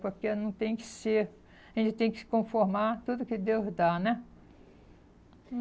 Porque não tem que ser, a gente tem que se conformar tudo que Deus dá, né?